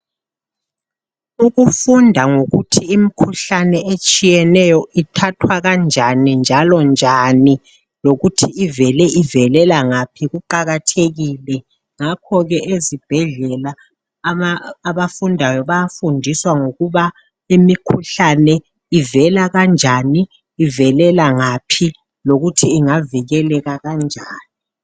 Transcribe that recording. Ukufunda ngokuthi imkhuhlane etshiyeneyo ithathwa kanjani njalo njani lokuthi ivele ivelela ngaphi, kuqakathekile ngakho ke ezibhedlela abafundayo bayafundiswa ngokuba imikhuhlane ivela kanjani ivelela ngaphi lokuthi ingavikeleka kanjani.